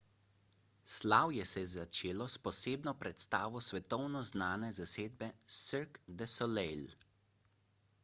slavje se je začelo s posebno predstavo svetovno znane zasedbe cirque du soleil